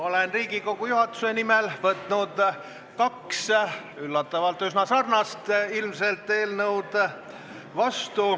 Olen Riigikogu juhatuse nimel võtnud vastu kaks üllatavalt üsna sarnast eelnõu.